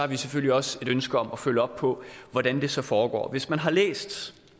vi selvfølgelig også et ønske om at følge op på hvordan det så foregår hvis man har læst